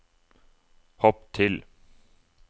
hopp til